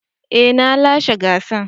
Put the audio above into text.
Eh na lashe gasar.